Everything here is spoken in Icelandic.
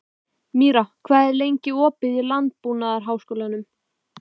Míra, hvað er lengi opið í Landbúnaðarháskólanum?